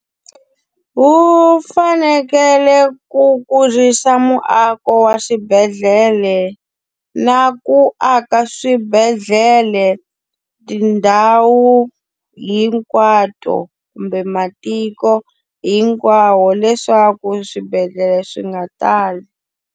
Wu fanekele ku kurisa muako wa swibedhlele na ku aka swibedhlele tindhawu hinkwato kumbe matiko hinkwawo, leswaku swibedhlele swi nga tali.